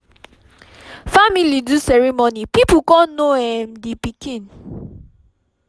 family do ceremony people con know um d pikin